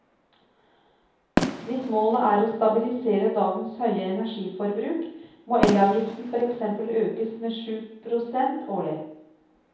Hvis målet er å stabilisere dagens høye energiforbruk må elavgiften for eksempel økes med syv prosent årlig.